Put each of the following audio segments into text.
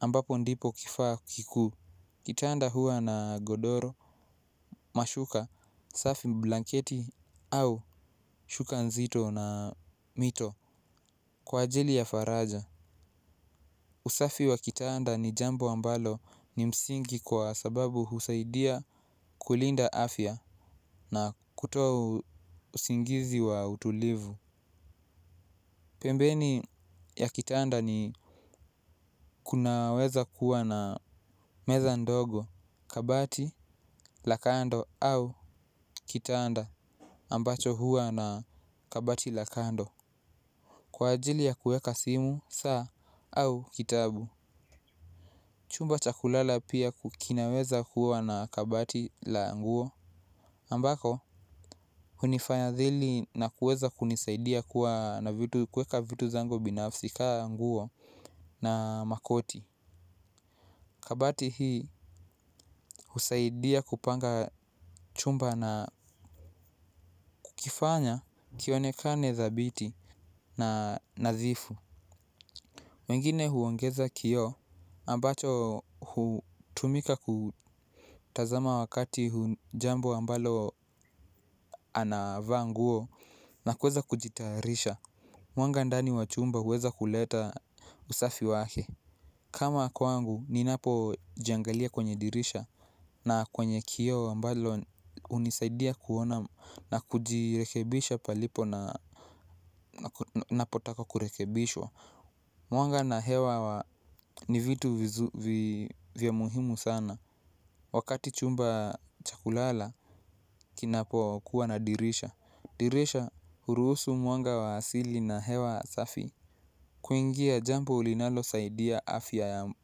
ambapo ndipo kifaa kikuu. Kitanda huwa nagodora mashuka safi blanketi au shuka nziyo na mito kwa ajili ya faraga. Usafi wa kitaanda ni jambo ambalo ni msingi kwa sababu husaidia kulinda afya na kutoa usingizi wa utulivu. Pembeni ya kitanda ni kunaweza kuwa na meza ndogo kabati lakatndo au kitanda ambacho kinaweza kuwa na kabati la kando kwa ajili ya kuweka simu saa au kitabu. Chumba cha kulala pia kinaweza kuwa na kabati la nguo ambako hunifanya dhili na kueza kunisaidia kuwa na kueka vitu zango binafsi ka nguo na makoti kabati hiihusaidia kupanga chumba na kukifanya kionekane dhabiti na nadhifu. Wengine huongeza kio ambacho hutumika kutazama wakati hujambo ambalo anavaa nguo na kweza kujitarisha. Mwanga ndani wachumba huweza kuleta usafi wake kama kwangu ninapojiangilia kwenye dirisha na kwenye kioo ambalo unisaidia kuona na kujilekebisha palipo napotaka kurekebishwa. Mwanga na hewa ni vitu vya muhimu sana. Wakati chumba chakulala, kinapo kuwa na dirisha. Dirisha uruhusu mwanga wa hasili na hewa safi. Kuingia jambo linalo saidia afya ya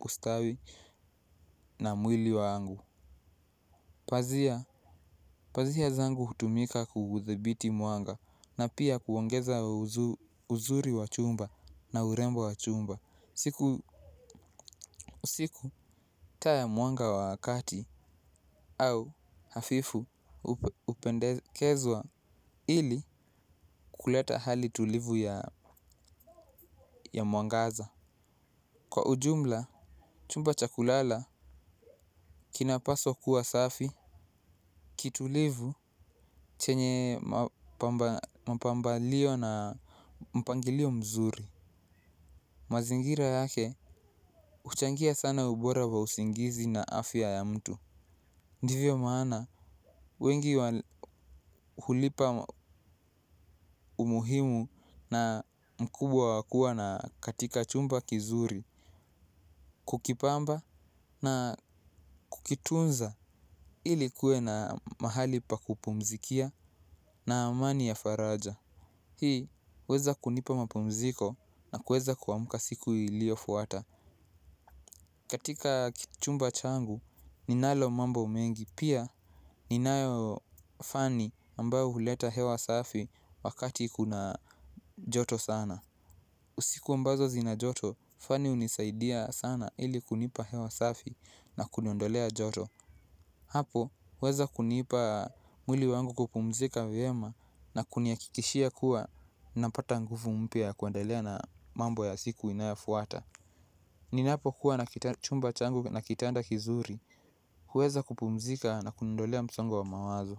ustawi na mwili wangu. Pazia zangu hutumika kuguzibiti mwanga na pia kuongeza uzuri wa chumba na urembo wa chumba. Siku usiku taa ya mwanga wakati au hafifu upendekezwa ili kuleta hali tulivu ya mwangaza. Kwa ujumla, chumba chakulala kina paswa kuwa safi, kitulivu chenye mapambalio na mpangilio mzuri. Mazingira yake uchangia sana ubora wa usingizi na afya ya mtu. Ndivyo maana, wengi hulipa umuhimu na mkubwa wakua na katika chumba kizuri. Kukipamba na kukitunza ili kuwe na mahali pa kupumzikia na amani ya faraja. Hii weza kunipa mapumziko na kueza kuamuka siku ilio fuata. Katika kichumba changu ninalo mambo umengi. Pia ninayo fani ambao huleta hewa safi wakati kuna joto sana. Usiku ambazo zina joto fani unisaidia sana ili kunipa hewa safi na kuniondolea joto. Hapo, huweza kunipa mwili wangu kupumzika vyema na kuniakikishia kuwa napata nguvu mpya ya kuandalea na mambo ya siku inayafuata. Ninapo kuwa na chumba changu na kitanda kizuri, huweza kupumzika na kundolea msongo wa mawazo.